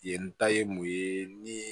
Yen ta ye mun ye ni